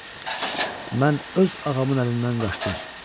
Mən öz ağamın əlindən qaçdım.